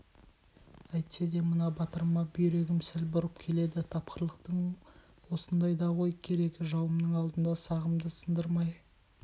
әйтсе де мына батырыма бүйрегім сәл бұрып келеді тапқырлықтың осындайда ғой керегі жауымның алдында сағымды сындырмай